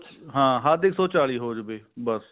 ਹਾਂ ਹੱਦ ਇੱਕ ਸੋ ਚਾਲੀ ਹੋ ਜਾਵੇ ਬਸ